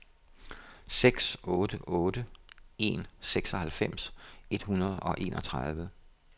seks otte otte en seksoghalvfems et hundrede og enogtredive